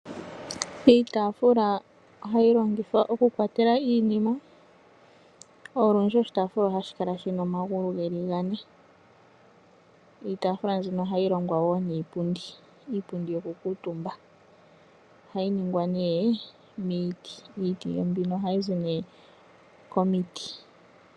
Iitafula ohayi longithwa oku kwatela iinima. Olundji oshitafula oha shi kala shina omagulu geli gane. Iitafula nzino ohayi longwa wo niipundi. Iipundi mbino yoku kutumba. Oha yi ningwa nee miiti. Iiti mbino oha yi zi nee komiiti.